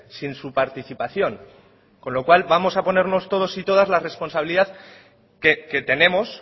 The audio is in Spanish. sin su participación con lo cual vamos a ponernos todos y todas la responsabilidad que tenemos